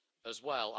as well.